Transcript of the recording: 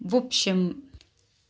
в общем